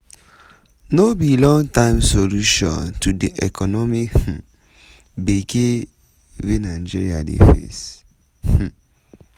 no be long term solution to di economic um gebge wey nigeria dey face. um